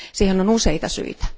Siihen on useita syitä.